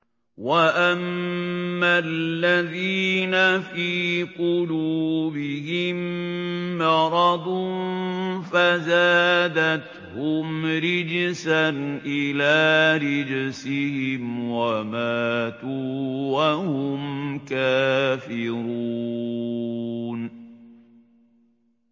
وَأَمَّا الَّذِينَ فِي قُلُوبِهِم مَّرَضٌ فَزَادَتْهُمْ رِجْسًا إِلَىٰ رِجْسِهِمْ وَمَاتُوا وَهُمْ كَافِرُونَ